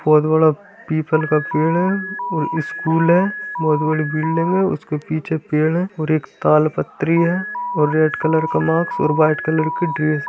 बहोत बड़ा पीपल का पेड़ है और स्कूल है बहुत बड़ी बिल्डिंग है उसके पीछे पेड़ है और एक तालपत्री हैं और रेड कलर का मास्क और वाइट कलर की ड्रेस --